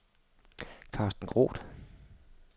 Karsten Groth